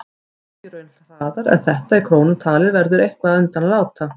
Hækki laun hraðar en þetta í krónum talið verður eitthvað undan að láta.